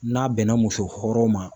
N'a bɛnna muso hɔrɔn ma